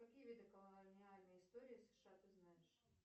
какие виды колониальной истории сша ты знаешь